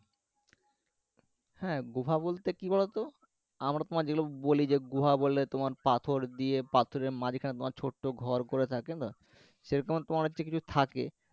হ্যাঁ গুহা বলতে কি বলোতো আমরা তোমার যেই গুলো বলি যে গুহা বলে তোমার পাথর দিয়ে পাথরের মাঝখানে তোমার ছোট ঘর করে থাকে না সেরকম তোমার হচ্ছে কিছু থাকে